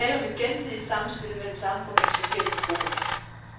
Der er tale om et gensidigt samspil mellem samfundets forskellige grupper.